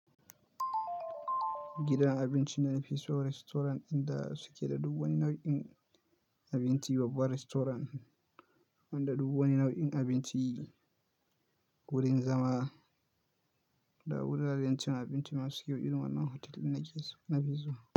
Gidan abincin da nafi so, Restaurant dinda suke da duk wani nau'in abinci. Babbar restaurant wanda duk wani nau'in abinci, wurin zama, da wuraren cin abinci masu kyau. Irin wannan hotel din nake so, nafi zuwa.